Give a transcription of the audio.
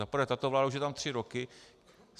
Za prvé tato vláda už je tam tři roky.